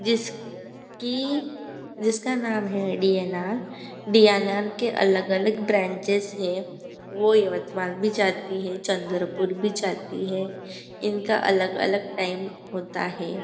जिस की जिसका नाम है डी_एन_आर डी_एन_आर के अलग अलग ब्रांचेस हैं वो यवतमाल भी जाती हैं चंद्रपुर भी जाती हैं इनका अलग अलग टाइम होता है।